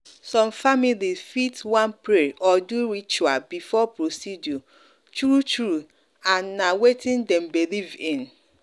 some families fit wan pray or do ritual before procedure true-true and na wetin dem believe in.